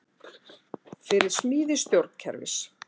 Fyrir smíði stjórnkerfis